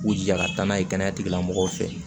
K'u jija ka taa n'a ye kɛnɛya tigilamɔgɔw fɛ